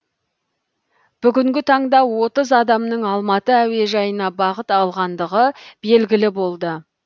бүгінгі таңда отыз адамның алматы әуежайына бағыт алғандығы белгілі болды